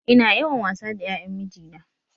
Ina yawan wasa da ƴaƴan mijina